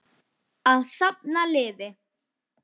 Að safna liði!